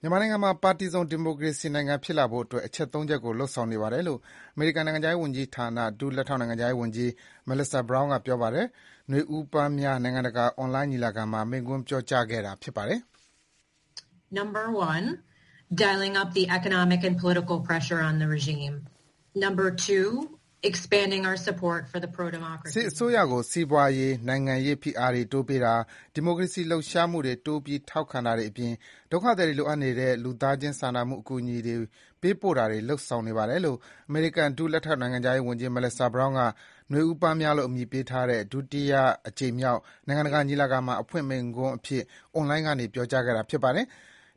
မြန်မာနိုင်ငံကို ပါတီစုံ ဒီမိုကရေစီ နိုင်ငံ ဖြစ်လာဖို့အတွက် အချက် ၃ ချက်ကို လုပ်ဆောင်နေပါတယ်လို့ အမေရိကန် နိုင်ငံခြားရေးဝန်ကြီးဌာန ဒုလက်ထောက်နိုင်ငံခြားရေးဝန်ကြီး Melissa Brown က ပြောလိုက်ပါတယ်။ နွေဦးပန်းများနိုင်ငံတကာ အွန်လိုင်း ညီလာခံမှာ မိန့်ခွန်းပြောကြားခဲ့တာဖြစ်ပါတယ်။ စစ်အစိုးရကို စီးပွားရေး၊ နိုင်ငံရေး ဖိအားတွေ တိုးပေးတာ၊ ဒီမိုကရေစီ လှုပ်ရှားမှုတွေ တိုးပြီး ထောက်ပံ့တာတွေ အပြင် ဒုက္ခသည်တွေ လိုအပ်နေတဲ့ လူသားချင်းစာနာမှု အကူအညီ ပေးပို့တာတွေ လုပ်ဆောင်နေပါတယ်လို့ အမေရိကန် ဒုလက်ထောက် နိုင်ငံခြားရေး ဝန်ကြီး Melissa Brown က နွေဦးပန်းများလို့ နာမည်ပေးထားတဲ့ ဒုတိယအကြိမ်မြောက် နိုင်ငံတကာညီလာခံမှာ အဖွင့်မိန့်ခွန်းအဖြစ် အွန်လိုင်းကနေ ပြောကြားခဲ့တာပါ။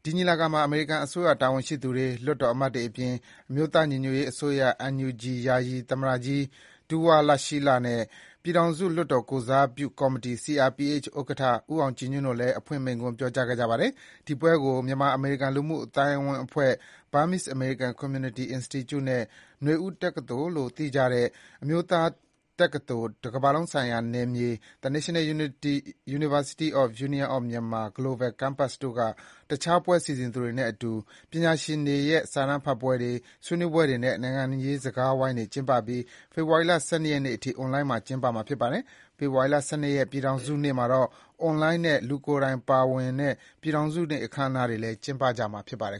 ဒီညီလာခံမှာ အမေရိကန် အစိုးရ တာဝန်ရှိသူတွေ၊ လွှတ်တော် အမတ်တွေ အပြင် အမျိုးသားညီညွတ်ရေး အစိုးရ NUG ယာယီ သမ္မတကြီး ဒူးဝါးလရှီးလ နဲ့ ပြည်ထောင်စု လွှတ်တော် ကိုယ်စားပြု ကော်မတီ CRPH ဥက္ကဋ္ဌ ဦးအောင်ကြည်ညွှန့် တို့လည်း အဖွင့်မိန့်ခွန်း ပြောကြားခဲ့ပါတယ်။ ဒီပွဲကို မြန်မာအမေရိကန် လူမှုအသိုင်းအဝန်းအဖွဲ့ Burmese American Community Institute (BACI) နဲ့ နွေဦးတက္ကသိုလ်လို့သိကြတဲ့ အမျိုးသားတက္ကသိုလ် ကမ္ဘာလုံးဆိုင်ရာနယ်မြေ The National University of the Union of Myanmar – Global Campus (NUUM) တို့က တခြားပွဲ စီစဉ်သူတွေ နဲ့အတူ ပညာရှင်တွေရဲ့ စာတမ်းဖတ်ပွဲတွေ၊ ဆွေးနွေးပွဲတွေ နဲ့ နိုင်ငံရေး စကားဝိုင်းတွေ ကျင်းပပြီး ဖေဖော်ဝါရီလ ၁၂ ရက်နေ့အထိ အွန်လိုင်းမှာ ကျင်းပမှာ ဖြစ်ပါတယ်။ ဖေဖော်ဝါရီလ ၁၂ ရက်နေ့ ပြည်ထောင်စုနေ့မှာတော့ အွန်လိုင်းနဲ့ လူကိုယ်တိုင် ပါဝင်တဲ့ ပြည်ထောင်စုနေ့ အခမ်းအနားတွေလည်း ကျင်းပမှာဖြစ်ပါတယ်